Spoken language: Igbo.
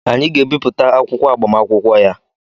Anyị ga-abipụtara akwụkwọ agbamakwụkwọ ya